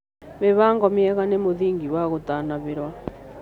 Mĩbango mĩega nĩ mũthĩngĩ wa gũtanahĩrwo